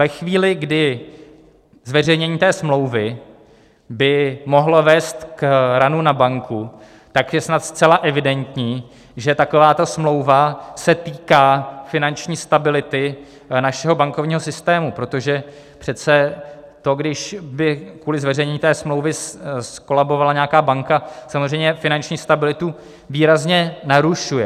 Ve chvíli, kdy zveřejnění té smlouvy by mohlo vést k runu na banku, tak je snad zcela evidentní, že taková smlouva se týká finanční stability našeho bankovního systému, protože přece to, když by kvůli zveřejnění té smlouvy zkolabovala nějaká banka, samozřejmě finanční stabilitu výrazně narušuje.